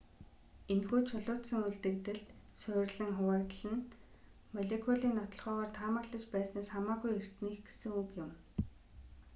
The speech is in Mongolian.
энэхүү чулуужсан үлдэгдэлд суурилан хуваагдал нь молекулын нотолгоогоор таамаглаж байснаас хамаагүй эртнийх гэсэг үг юм